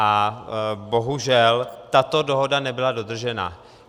A bohužel, tato dohoda nebyla dodržena.